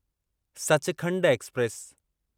Sachkhand express